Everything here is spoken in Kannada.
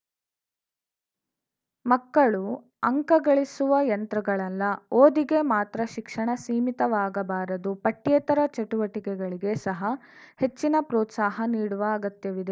ಮಕ್ಕಳು ಅಂಕ ಗಳಿಸುವ ಯಂತ್ರಗಳಲ್ಲ ಓದಿಗೆ ಮಾತ್ರ ಶಿಕ್ಷಣ ಸೀಮಿತವಾಗಬಾರದು ಪಠ್ಯೇತರ ಚಟುವಟಿಕೆಗಳಿಗೆ ಸಹ ಹೆಚ್ಚಿನ ಪ್ರೋತ್ಸಾಹ ನೀಡುವ ಅಗತ್ಯವಿದೆ